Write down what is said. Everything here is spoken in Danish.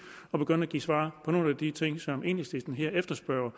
at begynde at give svar på nogle af de ting som enhedslisten her efterspørger